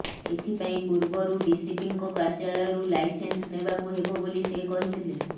ଏଥିପାଇଁ ପୂର୍ବରୁ ଡିସିପିଙ୍କ କାର୍ଯ୍ୟାଳୟରୁ ଲାଇସେନ୍ସ ନେବାକୁ ହେବ ବୋଲି କହିଥିଲେ